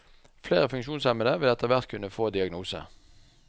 Flere funksjonshemmede vil etterhvert kunne få diagnose.